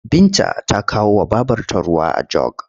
Binta ta kawowa babrta ruwa a jog.